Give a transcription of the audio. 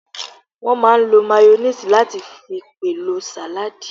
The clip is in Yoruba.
Wọ́n máà ń lo máyóníìsì láti fi pèlò sàládì